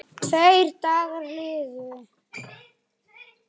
Tveir dagar liðu.